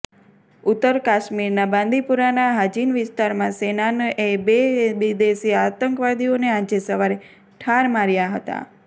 ઉત્તર કાશ્મીરના બાંદીપુરાના હાજિન વિસ્તારમાં સેનાનએ બે વિદેશી આતંકીઓને આજે સવારે ઠાર માર્યા હતા